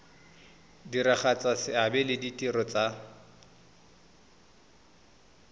diragatsa seabe le ditiro tsa